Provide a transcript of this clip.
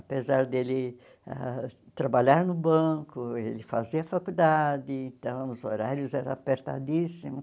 Apesar dele ãh trabalhar no banco, ele fazia faculdade, então os horários eram apertadíssimos.